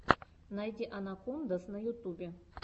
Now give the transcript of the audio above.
найди анакондаз на ютубе